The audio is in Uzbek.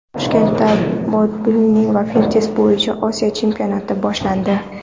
Toshkentda bodibilding va fitnes bo‘yicha Osiyo chempionati boshlandi.